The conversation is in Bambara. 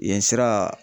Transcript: Yen sira